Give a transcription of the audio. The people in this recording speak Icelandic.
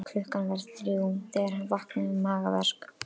Klukkan var þrjú þegar hann vaknaði með magaverk.